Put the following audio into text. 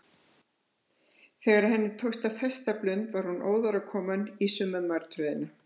Þegar henni tókst að festa blund var hún óðar komin í sömu martröðina.